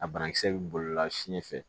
A banakisɛ bɛ bolila fiɲɛ fɛ